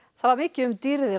það var mikið um dýrðir á